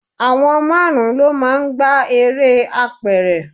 Àwọn márùn-ún lọ máa ń gbá eré apẹ̀rẹ̀.